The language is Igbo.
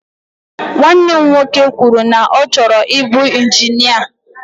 Nwanne m nwoke kwụrụ na ọ chọrọ ibu injinia.